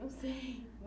Não sei.